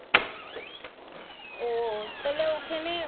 ও তাহলে ওখানে মানে